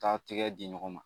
Taa tigɛ di ɲɔgɔn ma